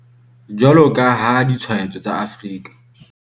Jwalo ka ha ditshwaetso tsa Afrika